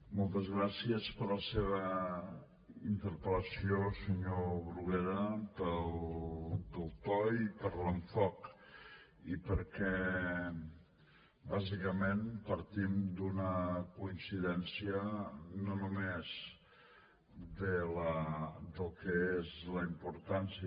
moltes gràcies per la seva interpel·lació senyor bruguera pel to i per l’enfocament i perquè bàsicament partim d’una coincidència no només del que és la importància